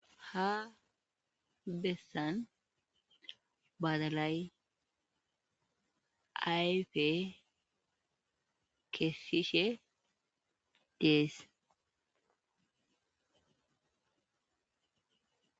Ha bessan badalay ayfe keesishe dess.